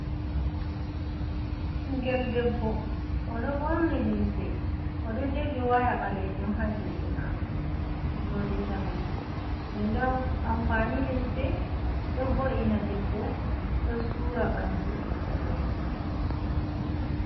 Ɓingel debbo o ɗo ɓorni limse o ɗo jogi waya balejon ha juɗe maako nyoli zamanu dende anfani limse ɗo vo’ina debbo ɗo sura ɓandu debbo.